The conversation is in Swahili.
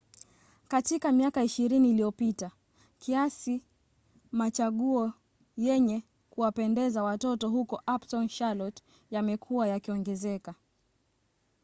katika miaka 20 iliyopita kiasi machaguo yenye kuwapendeza watoto huko uptown charlotte yamekuwa yakiongezeka